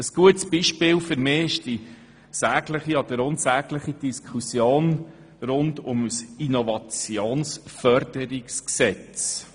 Ein gutes Beispiel ist für mich die Diskussion um das Innovationsförderungsgesetz.